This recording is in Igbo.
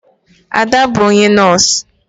Ada bu onye nọs.